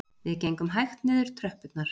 Við gengum hægt niður tröppurnar